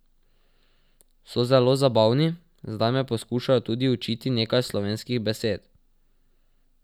So zelo zabavni, zdaj me poskušajo tudi učiti nekaj slovenskih besed.